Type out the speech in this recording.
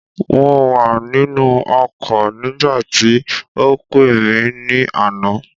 Mo wà nínú ọkọ̀ nígbàtí o pé mi ní àná